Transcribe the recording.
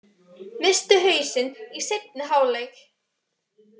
Misstu hausinn í seinni hálfleik